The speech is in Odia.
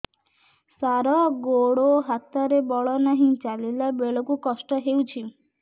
ସାର ଗୋଡୋ ହାତରେ ବଳ ନାହିଁ ଚାଲିଲା ବେଳକୁ କଷ୍ଟ ହେଉଛି